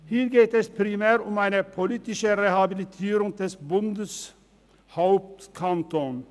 Hier geht es primär um eine politische Rehabilitierung des Bundeshauptkantons.